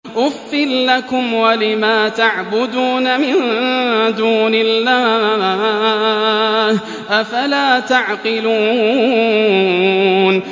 أُفٍّ لَّكُمْ وَلِمَا تَعْبُدُونَ مِن دُونِ اللَّهِ ۖ أَفَلَا تَعْقِلُونَ